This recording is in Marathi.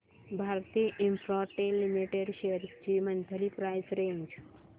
भारती इन्फ्राटेल लिमिटेड शेअर्स ची मंथली प्राइस रेंज